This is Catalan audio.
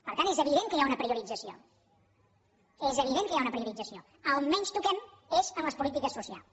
per tant és evident que hi ha una priorització és evident que hi ha una priorització a on menys toquem és en les polítiques socials